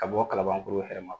Ka bɔ Kalabankoro